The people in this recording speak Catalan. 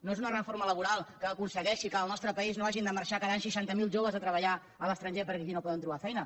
no és una reforma laboral que aconsegueixi que del nostre país no hagin de marxar cada any seixanta mil joves a treballar a l’estranger perquè aquí no poden trobar feina